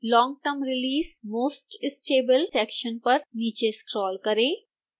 long term release most stable section पर नीचे scroll करें